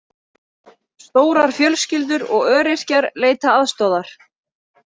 Stórar fjölskyldur og öryrkjar leita aðstoðar